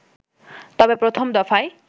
তবে প্রথম দফায়